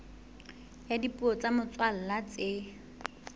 ya dipuo tsa motswalla tse